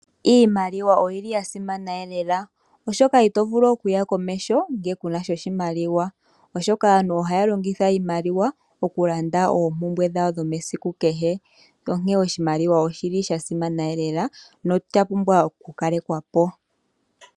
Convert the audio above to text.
Iimaliwa oyili ya simana lela oshoka ito vulu okuya komeho ngele kunasha oshimaliwa. Aantu ohaya longitha oshimaliwa okulanda oompumbwe dhawo dhesiku kehe, osha pumbwa woo okulongithwa momukalo guli nawa opo kaashipwepo.